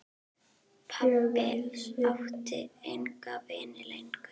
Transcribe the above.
Pabbi átti enga vini lengur.